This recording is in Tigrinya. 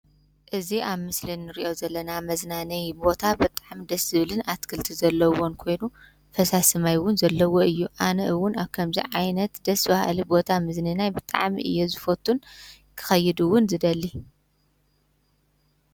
እዚ ኣብ ምስሊ እንሪኦ ዘለና ምዝናንይ ቦታ ብጣዕሚ ደስ ዝብልን ኣትክልቲ ዘለዎን ኮይኑ ፈሳሲ ማይ እውን ዘለዎ እዩ። ኣነ እውን ከምዚ ዓይነት ቦታ መዝንናይ ብጣዕሚ እየ ዝፈቱን ክከይድ እውን ዝደሊ።